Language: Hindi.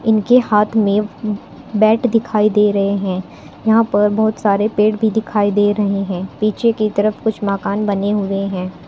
इनके हाथ में बैट दिखाई दे रहे है यहां पर बहुत सारे पेड़ भी दिखाई दे रहे है पीछे की तरफ कुछ मकान बने हुए है।